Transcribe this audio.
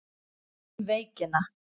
Um veikina